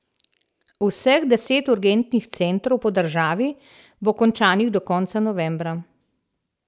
Vseh deset urgentnih centrov po državi bo končanih do konca novembra.